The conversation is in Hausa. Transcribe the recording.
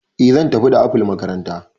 Eh zan tafi da apple makaranta